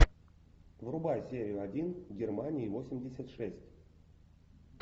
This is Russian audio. врубай серию один германия восемьдесят шесть